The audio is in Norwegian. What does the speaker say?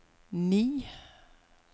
ni